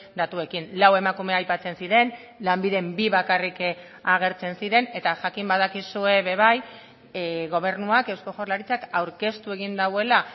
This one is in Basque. datuekin lau emakume aipatzen ziren lanbiden bi bakarrik agertzen ziren eta jakin badakizue ere bai gobernuak eusko jaurlaritzak aurkeztu egin duela